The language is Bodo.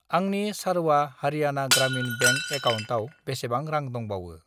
आंनि सारवा हारियाना ग्रामिन बेंक एकाउन्टाव बेसेबां रां दंबावो?